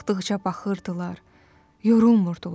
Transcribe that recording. Baxdıqca baxırdılar, yorulmurdular.